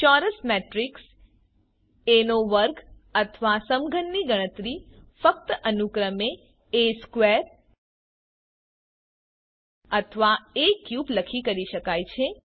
ચોરસ matrix A નો વર્ગ અથવા સમઘનની ગણતરી ફક્ત અનુક્રમે A2 અથવા A3 લખી કરી શકાય છે